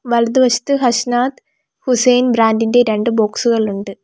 വലതുവശത്ത് ഹഷ്നാദ് ഹുസൈൻ ബ്രാൻഡ് ഇൻ്റെ രണ്ട് ബോക്സുകൾ ഇണ്ട്.